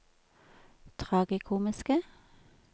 tragikomiske